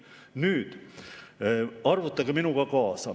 Nüüd arvutage minuga kaasa.